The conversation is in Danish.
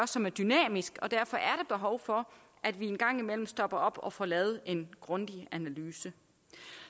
som er dynamisk og derfor er der behov for at vi en gang imellem stopper op og får lavet en grundig analyse